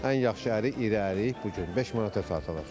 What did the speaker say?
Ən yaxşı ərik, iri ərik bu gün beş manata satılır.